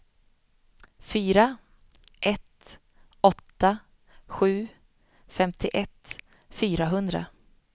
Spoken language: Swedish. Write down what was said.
fyra ett åtta sju femtioett fyrahundra